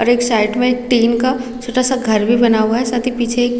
और एक साइड में एक टिन का छोटा सा घर भी बना हुआ है साथ ही पीछे एक--